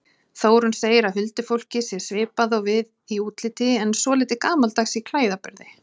Þórunn segir að huldufólkið sé svipað og við í útliti en svolítið gamaldags í klæðaburði.